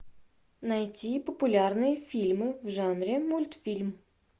найти популярные фильмы в жанре мультфильм